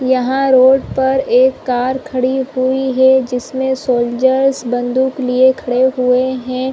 यहाँ रोड पर एक कार खड़ी हुई है जिसमे सोल्जर बंदूक लिए खड़े हुए हैं।